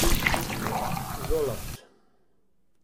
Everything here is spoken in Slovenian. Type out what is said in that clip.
Zoloft.